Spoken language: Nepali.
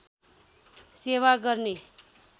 सेवा गर्ने